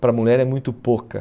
Para mulher é muito pouca.